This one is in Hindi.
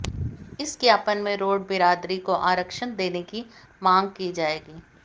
इस ज्ञापन में रोड़ बिरादरी को आरक्षण देने की माँग की जाएगी